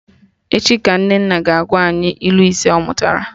Echi ka Nnenne ga-agwa anyị ilu ise ọ mụtara